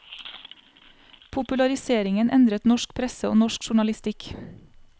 Populariseringen endret norsk presse og norsk journalistikk.